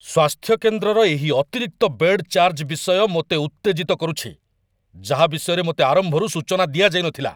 ସ୍ୱାସ୍ଥ୍ୟ କେନ୍ଦ୍ରର ଏହି ଅତିରିକ୍ତ ବେଡ୍ ଚାର୍ଜ ବିଷୟ ମୋତେ ଉତ୍ତେଜିତ କରୁଛି, ଯାହା ବିଷୟରେ ମୋତେ ଆରମ୍ଭରୁ ସୂଚନା ଦିଆଯାଇ ନଥିଲା।